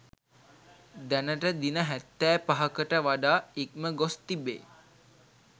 දැනට දින හැත්තෑපහකට වඩා ඉක්මගොස් තිබේ